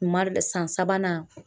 U marɛ dɛ san sabanan